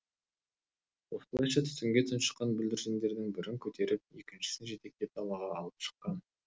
осылайша түтінге тұншыққан бүлдіршіндердің бірін көтеріп екіншісін жетектеп далаға алып шыққан